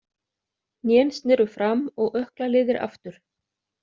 Hnén sneru fram og ökklaliðir aftur.